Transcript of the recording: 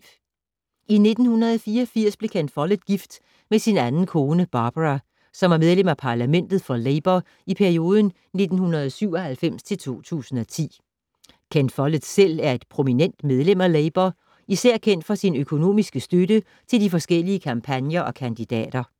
I 1984 blev Ken Follett gift med sin anden kone, Barbara, som var medlem af parlamentet for Labour i perioden 1997-2010. Ken Follett selv er et prominent medlem af Labour, især kendt for sin økonomiske støtte til de forskellige kampagner og kandidater.